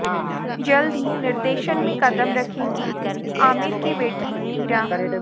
जल्द ही निर्देशन में कदम रखेंगी आमिर की बेटी ईरा